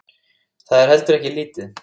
Það er heldur ekki lítið.